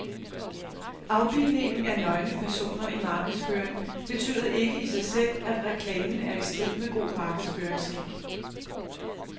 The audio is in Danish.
Afbildningen af nøgne personer i markedsføring betyder ikke i sig selv, at reklamen er i strid med god markedsføringsskik.